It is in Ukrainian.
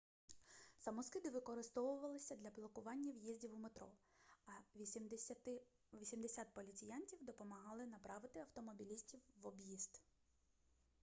самоскиди викорисовувалися для блокування в'їздів у метро а 80 поліціянтів допомогали направити автомобілістів в об'їзд